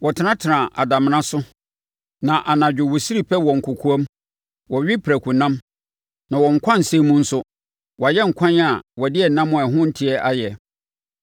Wɔtenana adamena so na anadwo wɔsiri pɛ nkokoam; wɔwe prakonam na wɔn nkwansɛn mu nso, wɔayɛ nkwan a wɔde ɛnam a ɛho nteɛ ayɛ;